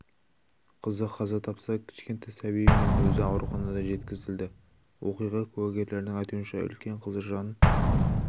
қызы қаза тапса кішкентай сәбиі мен өзі ауруханаға жеткізілді оқиға куәгерлерінің айтуынша үлкен қызы жан